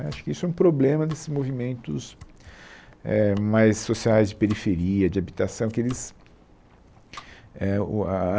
Né acho que isso é um problema desses movimentos eh mais sociais de periferia, de habitação que eles...eh o a a